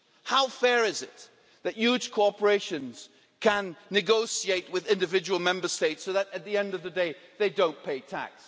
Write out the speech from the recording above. How fair is it that huge corporations can negotiate with individual Member States so that at the end of the day, they don't pay tax?